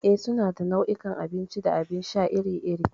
Eh, suna da nau'ikan abinci da abin sha iri-iri.